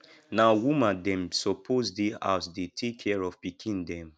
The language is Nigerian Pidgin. na woman dem suppose dey house dey take care of pikin dem